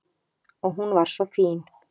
Og hún var svo fín.